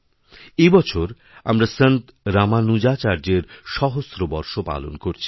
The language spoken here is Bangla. এবছর আমরা সন্ত রামানুজাচার্যের সহস্র বর্ষপালন করছি